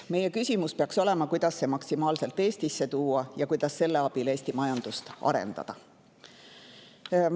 Meie küsimus peaks olema, kuidas see maksimaalselt Eestisse tuua ja kuidas selle abil Eesti majandust arendada.